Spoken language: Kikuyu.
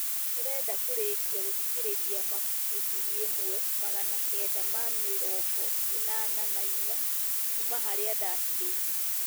ndĩrenda kũrĩĩkia gũthikĩrĩria ibuku ngiri ĩmwe magana kenda ma mĩrongo inana na inya kuuma harĩa ndatigĩire